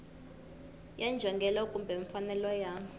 ya njhongelo kumbe mfanelo ya